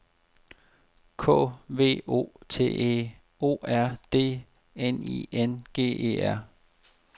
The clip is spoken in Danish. K V O T E O R D N I N G E R